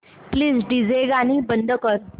please DJ गाणी बंद कर